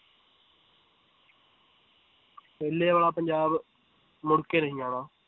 ਪਹਿਲੇ ਵਾਲਾ ਪੰਜਾਬ ਮੁੜ ਕੇ ਨਹੀਂ ਆਉਣਾ